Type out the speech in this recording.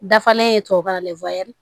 Dafalen ye tubabukan na